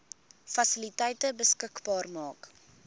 fasiliteite beskikbaar maak